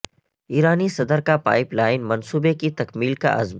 ایرانی صدر کا پائپ لائن منصوبے کی تکمیل کا عزم